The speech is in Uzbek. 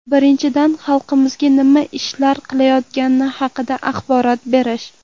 Birinchidan, xalqimizga nima ishlar qilinayotgani haqida axborot berish.